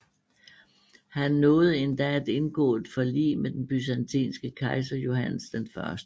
Han nåede endda at indgå et forlig med den byzantinske kejser Johannes 1